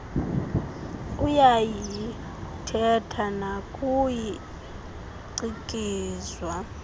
uyayiithetha nakuye cikizwa